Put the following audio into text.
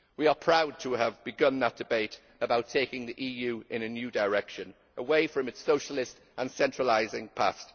We are proud to have begun that debate about taking the EU in a new direction, away from its socialist and centralising past.